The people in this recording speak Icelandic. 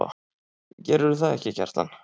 Gerðirðu það ekki, Kjartan?